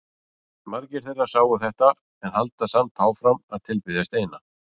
Margir þeirra sáu þetta en halda samt áfram að tilbiðja steina.